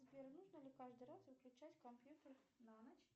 сбер нужно ли каждый раз выключать компьютер на ночь